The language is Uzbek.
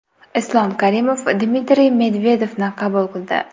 Islom Karimov Dmitriy Medvedevni qabul qildi.